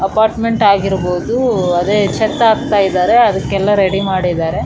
ಬಹಳ ದೊಡ್ಡ್ ಬಿಲ್ಡಿಂಗ್ ಆಗಿದಂಗೆ ಇದೆ ಹಂಗಾಗಿ ಬಾಳ --